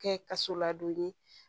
Kɛ kaso ladonni